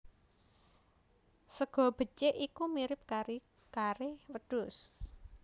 Sega bécèk iku mirip kari kare wedhus